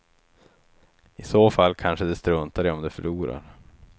I så fall kanske de struntar i om de förlorar.